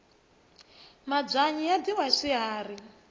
mabyanyi ya dyiwa hi swikari